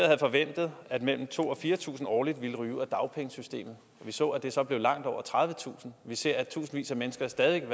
havde forventet at mellem to tusind og fire tusind årligt ville ryge ud af dagpengesystemet vi så at det så blev langt over tredivetusind og vi ser at tusindvis af mennesker stadig væk